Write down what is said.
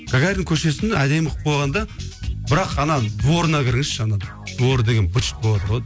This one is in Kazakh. гагарин көшесін әдемі қылып қойған да бірақ ана дворына кіріңізші ана дворы деген быт шыт боватыр ғой